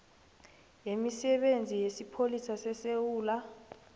yemisebenzi yesipholisa sesewula